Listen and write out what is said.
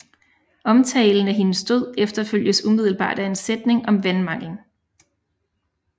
Omtalen af hendes død efterfølges umiddelbart af en sætning om vandmanglen